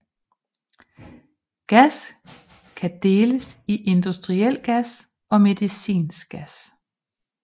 Gas kan deles i industriel gas og medicinsk gas